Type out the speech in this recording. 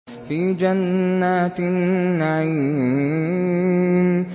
فِي جَنَّاتِ النَّعِيمِ